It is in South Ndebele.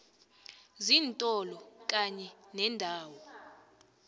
zeentolo kanye neendawo